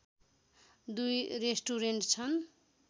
दुई रेस्टुरेन्ट छन्